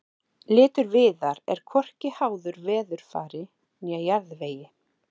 litur viðar er hvorki háður veðurfari né jarðvegi